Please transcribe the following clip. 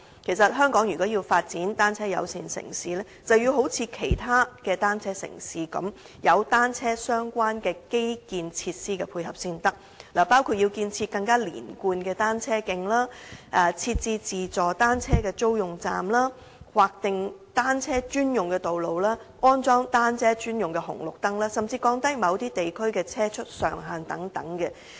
其實，如果香港要發展成為單車友善城市，就要一如其他單車友善城市般，有單車相關的基建設施配合才行，包括建設更連貫的單車徑、設置自助單車租用站、劃定單車專用道、安裝單車專用紅綠燈，甚至降低某些地區的車速上限等。